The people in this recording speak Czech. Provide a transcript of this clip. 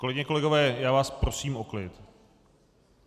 Kolegyně, kolegové, já vás prosím o klid.